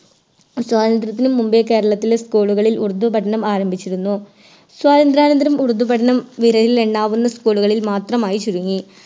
സ്വാതന്ത്രത്തിനു മുമ്പേ കേരളത്തിലെ School കളിൽ ഉറുദു പഠനം ആരംഭിച്ചിരുന്നു സ്വാതന്ത്രനാന്തരം ഉറുദു പഠനം വിരലിലെണ്ണാവുന്ന School കളിൽ മാത്രമായി ചുരുങ്ങി